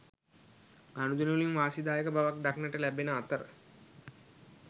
ගනුදෙනුවලින් වාසිදායක බවක් දක්නට ලැබෙන අතර